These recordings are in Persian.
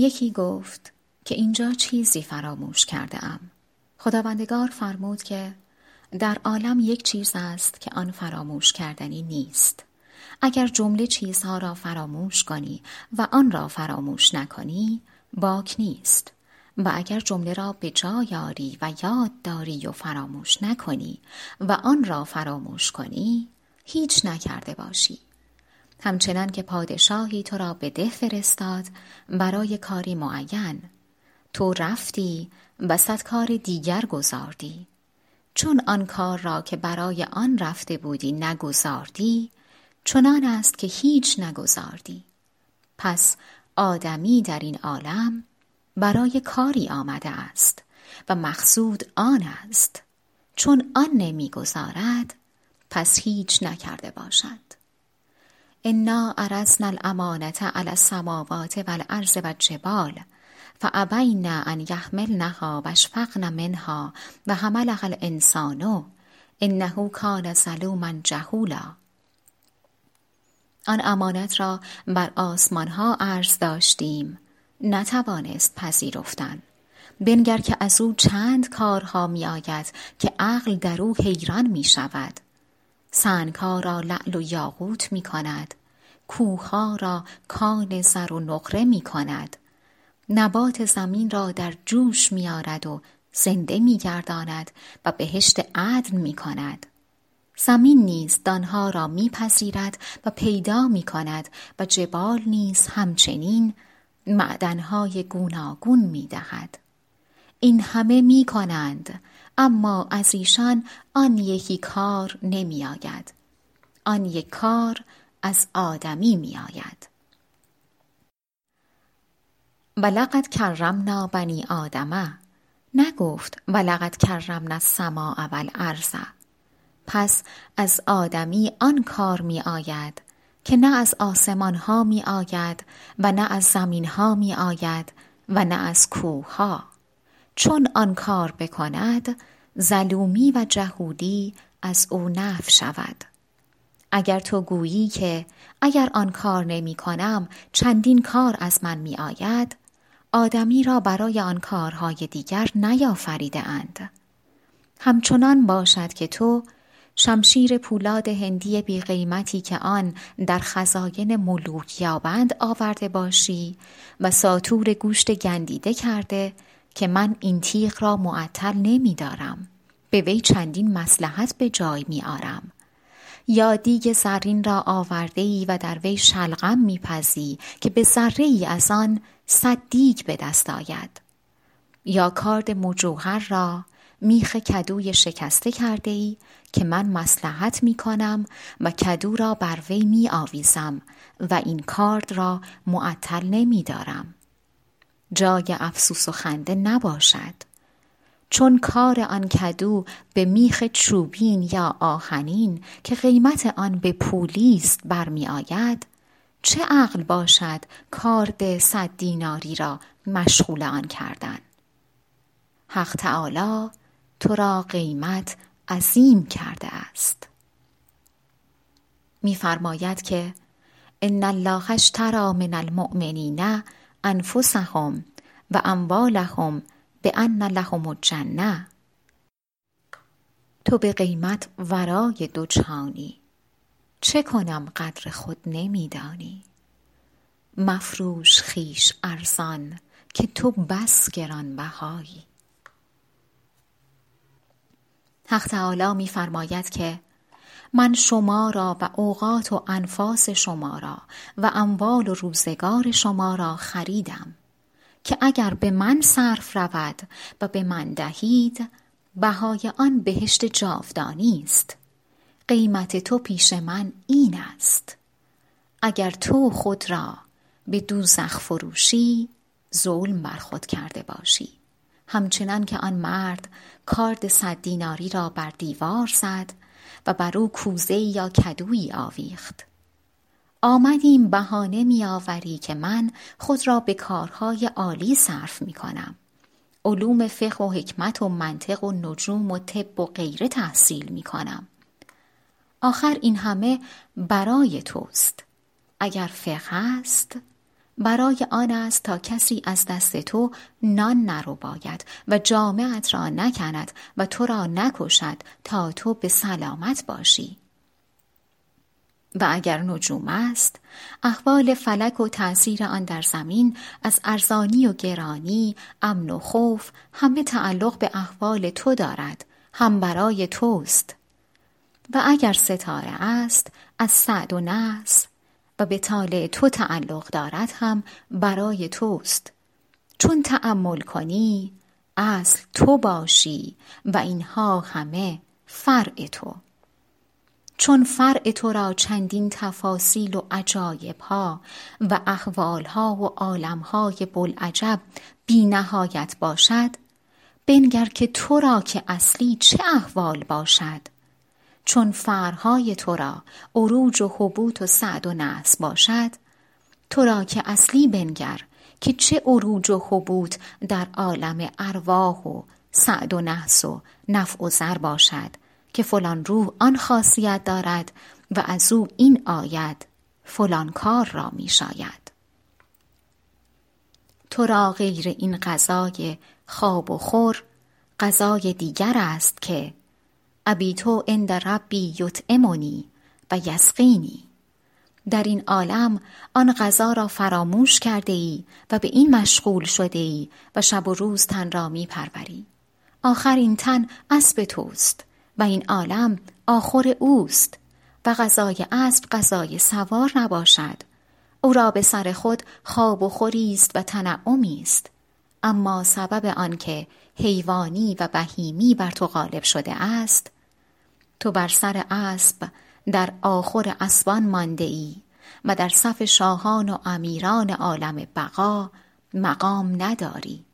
یکی گفت که اینجا چیزی فراموش کرده ام خداوندگار فرمود که در عالم یک چیز است که آن فراموش کردنی نیست اگر جمله چیزها را فراموش کنی و آن را فراموش نکنی باک نیست و اگر جمله را به جای آری و یاد داری و فراموش نکنی و آن را فراموش کنی هیچ نکرده باشی همچنانکه پادشاهی تو را به ده فرستاد برای کاری معین تو رفتی و صد کار دیگر گزاردی چون آن کار را که برای آن رفته بودی نگزاردی چنان است که هیچ نگزاردی پس آدمی در این عالم برای کاری آمده است و مقصود آن است چون آن نمی گزارد پس هیچ نکرده باشد انا عرضنا الامانة علی السموات و الارض و الجبال فابین ان یحملنها و اشفقن منها و حملها الانسان انه کان ظلوما جهولا آن امانت را بر آسمان ها عرض داشتیم نتوانست پذرفتن بنگر که از او چند کارها می آید که عقل در او حیران می شود سنگها را لعل و یاقوت می کند کوهها را کان زر و نقره می کند نبات زمین را در جوش می آرد و زنده می گرداند و بهشت عدن می کند زمین نیز دانه ها را می پذیرد و بر می دهد و عیب ها را می پوشاند و صدهزار عجایب که در شرح نیاید می پذیرد و پیدا می کند و جبال نیز همچنین معدن های گوناگون می دهد این همه می کنند اما از ایشان آن یکی کار نمی آید آن یک کار از آدمی می آید ولقد کرمنا بنی آدم نگفت و ولقد کرمنا السماء و الارض پس از آدمی آن کار می آید که نه از آسمانها می آید و نه از زمین ها می آید و نه از کوهها چون آن کار بکند ظلومی و جهولی از او نفی شود اگر تو گویی که اگر آن کار نمی کنم چندین کار از من می آید آدمی را برای آن کارهای دیگر نیافریده اند همچنان باشد که تو شمشیر پولاد هندی بی قیمتی که آن در خزاین ملوک یابند آورده باشی و ساطور گوشت گندیده کرده که من این تیغ را معطل نمی دارم به وی چندین مصلحت به جای می آرم یا دیگ زرین را آورده ای و در وی شلغم می پزی که به ذره ای از آن صد دیگ به دست آید یا کارد مجوهر را میخ کدوی شکسته کرده ای که من مصلحت می کنم و کدو را بر وی می آویزم و این کارد را معطل نمی دارم جای افسوس و خنده نباشد چون کار آن کدو به میخ چوبین یا آهنین که قیمت آن به پولی ست برمی آید چه عقل باشد کارد صد دیناری را مشغول آن کردن حق تعالی تو را قیمت عظیم کرده است می فرماید که ان الله اشتری من المومنین انفسهم و اموالهم بان لهم الجنة تو به قیمت ورای دو جهانی چه کنم قدر خود نمی دانی مفروش خویش ارزان که تو بس گران بهایی حق تعالی می فرماید که من شما را و اوقات و انفاس شما را و اموال و روزگار شما را خریدم که اگر به من صرف رود و به من دهید بهای آن بهشت جاودانیست قیمت تو پیش من این است اگر تو خود را به دوزخ فروشی ظلم برخود کرده باشی همچنان که آن مرد کارد صد دیناری را بر دیوار زد و بر او کوزه ای یا کدویی آویخت آمدیم بهانه می آوری که من خود را به کارهای عالی صرف می کنم علوم فقه و حکمت و منطق و نجوم و طب و غیره تحصیل می کنم آخر این همه برای توست اگر فقه است برای آن است تا کسی از دست تو نان نرباید و جامه ات را نکند و تو را نکشد تا تو به سلامت باشی و اگر نجوم است احوال فلک و تأثیر آن در زمین از ارزانی و گرانی امن و خوف همه تعلق به احوال تو دارد هم برای توست و اگر ستاره است از سعد و نحس و به طالع تو تعلق دارد هم برای توست چون تأمل کنی اصل تو باشی و اینها همه فرع تو چون فرع تو را چندین تفاصیل و عجایبها و احوالها و عالمهای بوالعجب بی نهایت باشد بنگر که تو را که اصلی چه احوال باشد چون فرعهای تو را عروج و هبوط و سعد و نحس باشد تو را که اصلی بنگر که چه عروج و هبوط در عالم ارواح و سعد و نحس و نفع و ضر باشد که فلان روح آن خاصیت دارد و از او این آید فلان کار را می شاید تو را غیر این غذای خواب و خور غذای دیگر است که ابیت عند ربی یطعمنی و یسقینی در این عالم آن غذا را فراموش کرده ای و به این مشغول شده ای و شب و روز تن را می پروری آخر این تن اسب توست و این عالم آخور اوست و غذای اسب غذای سوار نباشد او را به سر خود خواب و خوری ست و تنعمی است اما سبب آن که حیوانی و بهیمی بر تو غالب شده است تو بر سر اسب در آخور اسبان مانده ای و در صف شاهان و امیران عالم بقا مقام نداری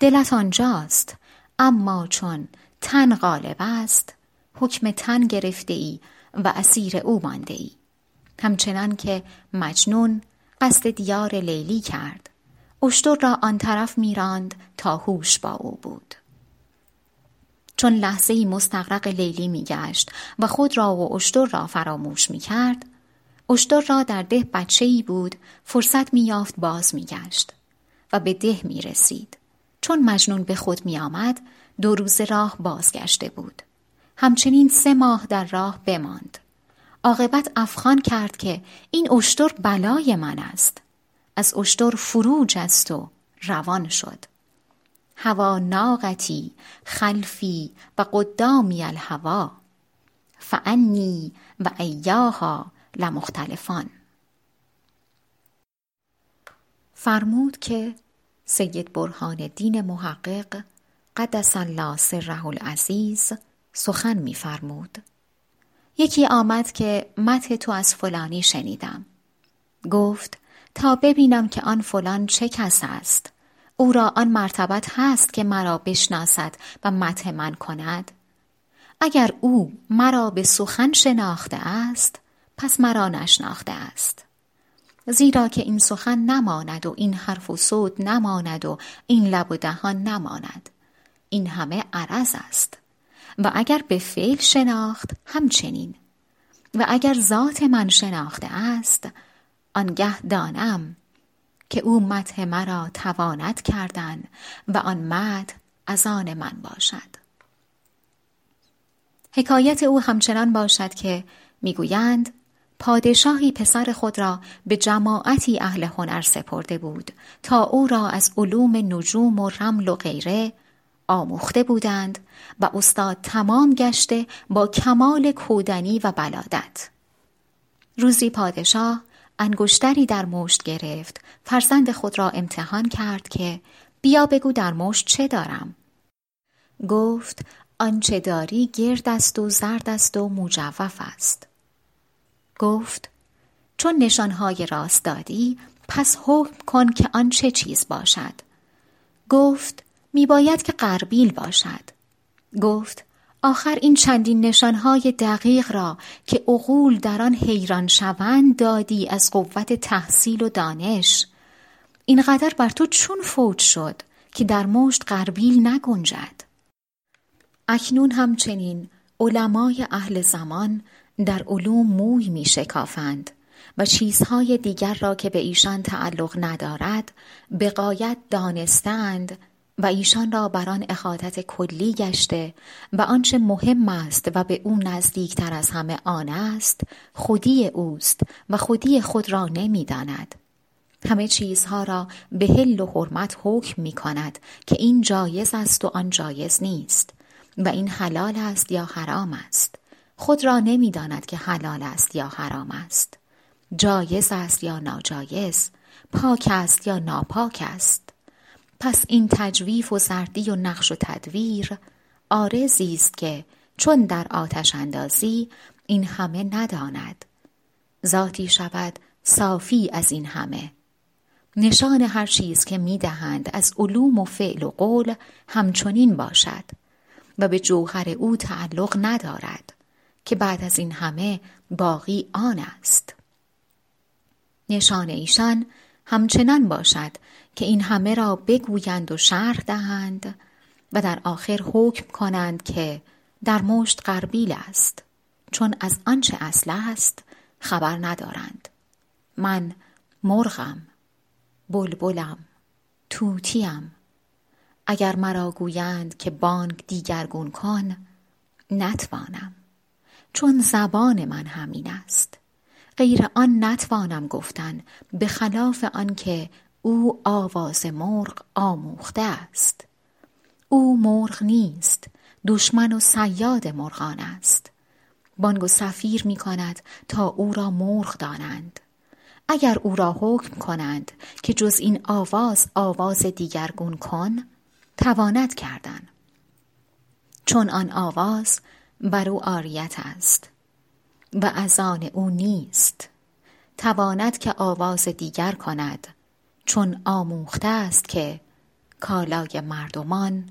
دلت آنجاست اما چون تن غالب است حکم تن گرفته ای و اسیر او مانده ای همچنان که مجنون قصد دیار لیلی کرد اشتر را آن طرف می راند تا هوش با او بود چون لحظه ای مستغرق لیلی می گشت و خود را و اشتر را فراموش می کرد اشتر را در ده بچه ای بود فرصت می یافت باز می گشت و به ده می رسید چون مجنون به خود می آمد دو روزه راه بازگشته بود همچنین سه ماه در راه بماند عاقبت افغان کرد که این اشتر بلای من است از اشتر فرو جست و روان شد هوی ناقتی خلفی وقدامی الهوی فانی وایاها لمختلفان فرمود که سید برهان الدین محقق قدس الله سره العزیز سخن می فرمود یکی آمد که مدح تو از فلانی شنیدم گفت تا ببینم که آن فلان چه کس است او را آن مرتبت هست که مرا بشناسد و مدح من کند اگر او مرا به سخن شناخته است پس مرا نشناخته است زیرا که این سخن نماند و این حرف و صوت نماند و این لب و دهان نماند این همه عرض است و اگر به فعل شناخت همچنین و اگر ذات من شناخته است آنگه دانم که او مدح مرا تواند کردن و آن مدح از آن من باشد حکایت او همچنان باشد که می گویند پادشاهی پسر خود را به جماعتی اهل هنر سپرده بود تا او را از علوم نجوم و رمل و غیره آموخته بودند و استاد تمام گشته با کمال کودنی و بلادت روزی پادشاه انگشتری در مشت گرفت فرزند خود را امتحان کرد که بیا بگو در مشت چه دارم گفت آنچه داری گرد است و زرد است و مجوف است گفت چون نشانهای راست دادی پس حکم کن که آن چه چیز باشد گفت می باید که غربیل باشد گفت آخر این چندین نشانهای دقیق را که عقول در آن حیران شوند دادی از قوت تحصیل و دانش این قدر بر تو چون فوت شد که در مشت غربیل نگنجد اکنون همچنین علمای اهل زمان در علوم موی می شکافند و چیزهای دیگر را که به ایشان تعلق ندارد به غایت دانسته اند و ایشان را بر آن احاطت کلی گشته و آنچه مهم است و به او نزدیکتر از همه آن است خودی اوست و خودی خود را نمی داند همه چیزها را به حل و حرمت حکم می کند که این جایز است و آن جایز نیست و این حلال است یا حرام است خود را نمی داند که حلال است یا حرام است جایز است یا ناجایز پاک است یا ناپاک است پس این تجویف و زردی و نقش و تدویر عارضی است که چون در آتش اندازی این همه نماند ذاتی شود صافی از این همه نشان هر چیز که می دهند از علوم و فعل و قول همچنین باشد و به جوهر او تعلق ندارد که بعد از این همه باقی آن است نشان ایشان همچنان باشد که این همه را بگویند و شرح دهند و در آخر حکم کنند که در مشت غربیل است چون از آنچه اصل است خبر ندارند من مرغم بلبلم طوطی ام اگر مرا گویند که بانگ دیگرگون کن نتوانم چون زبان من همین است غیر آن نتوانم گفتن به خلاف آن که او آواز مرغ آموخته است او مرغ نیست دشمن و صیاد مرغان است بانگ و صفیر می کند تا او را مرغ دانند اگر او را حکم کنند که جز این آواز آواز دیگرگون کن تواند کردن چون آن آواز بر او عاریت است و از آن او نیست تواند که آواز دیگر کند چون آموخته است که کالای مردمان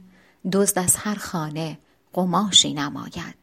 دزدد از هر خانه قماشی نماید